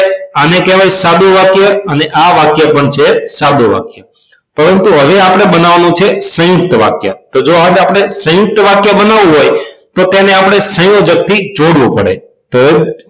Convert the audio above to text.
આને કહેવાય સાદું વાક્ય અને આ વાક્ય પણ છે સાદું વાક્ય પરંતુ અહી આપણે બનવાનું છે સયુંકત વાક્ય તો આજ આપણે સયુંકત વાક્ય બનાવું હોય તો તેને આપણે સંયોજક થી જોડવું પડે તો